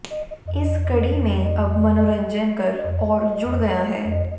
इस कड़ी में अब मनोरंजन कर और जुड़ गया है